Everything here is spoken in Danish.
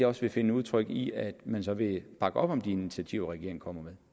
også vil finde udtryk i at man vil bakke op om de initiativer regeringen kommer med